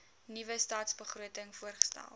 nuwe stadsbegroting voorgestel